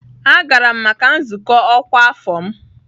Agara m maka nzukọ ọkwa afọ m.